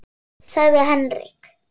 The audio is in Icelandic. sagði Henrik.